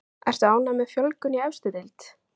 Ertu ánægð með fjölgun í efstu deild?